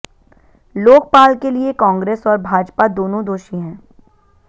लोकपाल के लिए कांग्रेस और भाजपा दोनों दोषी है